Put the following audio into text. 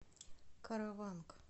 караванг